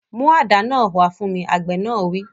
Mú àdá náà wá fún mi! Àgbẹ̀ náà wí.